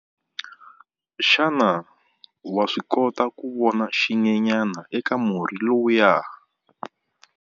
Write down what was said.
Xana wa swi kota ku vona xinyenyana eka murhi lowuya?